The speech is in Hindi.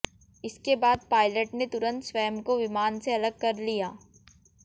इसके बाद पायलट ने तुरंत स्वयं को विमान से अलग कर लिया